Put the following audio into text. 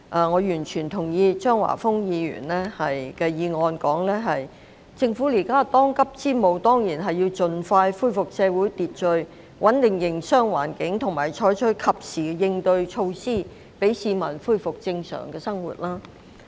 我完全認同張華峰議員的議案所提出，政府目前當務之急，當然是要盡快恢復社會秩序，穩定營商環境和採取及時應對措施，讓市民恢復正常的生活。